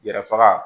Yɛrɛ faga